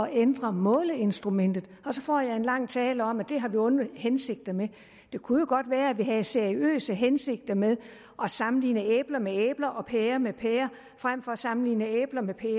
ændre måleinstrumentet og så får jeg en lang tale om at det har vi onde hensigter med det kunne jo godt være at vi havde seriøse hensigter med at sammenligne æbler med æbler og pærer med pærer frem for at sammenligne æbler med pærer